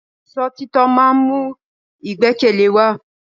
Ìṣọ̀títọ́ ma ń mú ìgbẹ́kẹ̀lé wa.